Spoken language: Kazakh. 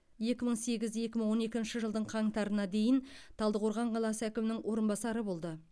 екі мың сегіз екі мың он екінші жылдың қаңтарына дейін талдықорған қаласы әкімінің орынбасары болды